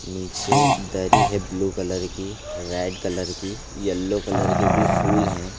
निचे दरी है ब्लू कलर की रेड कलर की यल्लो कलर के भी फुल है।